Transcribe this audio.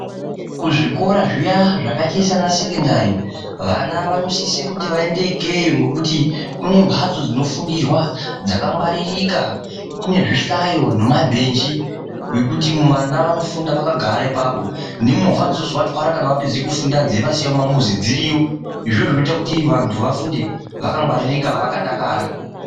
Kuzvikora zviya zvakaite sesekendari, vana vanosise kuti vaende ikeyo nekuti kune mbatso dzinofundirwa dzakangwaririka kune zvihlayo nemabhenji zvekuti vana vanofunda vakagara ipapo nemovha dzonozovatywara kana vapedza kufunda dzeivasiya mumamuzi dziriyo izvozvo zvinoita kuti vanthu vafunde vakangwaririka vakadakara.